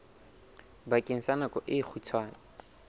bakeng sa nako e kgutshwane